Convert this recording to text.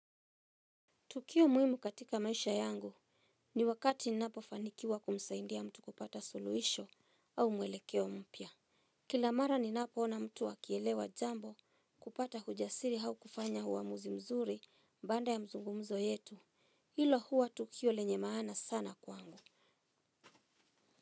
Tukio muhimu katika maisha yangu ni wakati ninapofanikiwa kumsaidia mtu kupata suluhisho au mwelekeo mpya. Kila mara ninapoona mtu akielewa jambo, kupata ujasiri au kufanya uamuzi mzuri. Baada ya mazungumzo yetu. Hilo huwa tukio lenye maana sana kwangu.